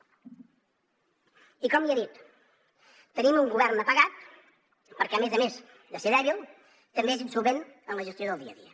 i com ja he dit tenim un govern apagat perquè a més a més de ser dèbil també és insolvent en la gestió del dia a dia